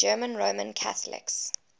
german roman catholics